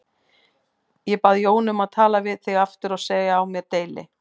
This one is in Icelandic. Ég bað Jónu um að tala við þig aftur og segja á mér deili.